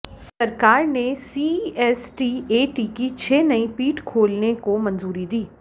सरकार ने सीईएसटीएटी की छह नई पीठ खोलने को मंजूरी दी